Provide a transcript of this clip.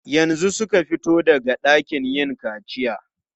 Yanzu suka fito daga ɗakin yin kaciya.